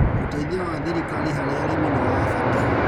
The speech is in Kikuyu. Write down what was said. ũteithio wa thirikari harĩ arĩmi nĩwabata.